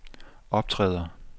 optræder